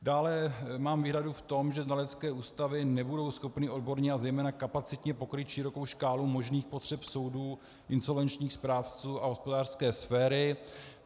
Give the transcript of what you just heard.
Dále mám výhradu v tom, že znalecké ústavy nebudou schopny odborně a zejména kapacitně pokrýt širokou škálu možných potřeb soudů, insolvenčních správců a hospodářské sféry.